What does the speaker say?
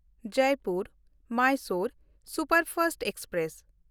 Jaipur Mysore superfast express